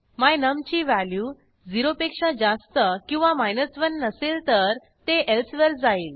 my num ची value 0 पेक्षा जास्त किंवा 1 नसेल तर ते एल्से वर जाईल